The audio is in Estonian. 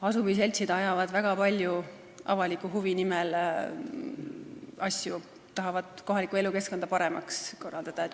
Asumiseltsid ajavad avaliku huvi nimel väga paljusid asju, nad tahavad kohalikku elukeskkonda paremaks korraldada.